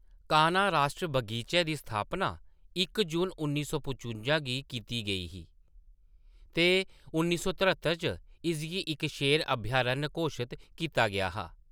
कान्हा राश्ट्री बगीचै दी स्थापना इक जून, उन्नी सौ पचुंजा गी कीती गेई ही ते उन्नी सौ तरह्त्तर च इसगी इक शेर अभयारण्य घोशत कीता गेआ हा।